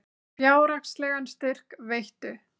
Fjárhagslegan styrk veittu